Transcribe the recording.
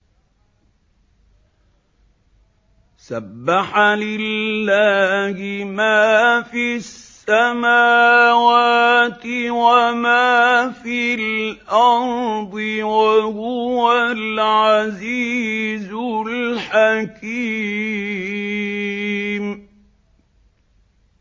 سَبَّحَ لِلَّهِ مَا فِي السَّمَاوَاتِ وَمَا فِي الْأَرْضِ ۖ وَهُوَ الْعَزِيزُ الْحَكِيمُ